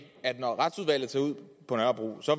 at når retsudvalget tager ud på nørrebro så